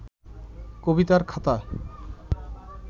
কবিতার খাতা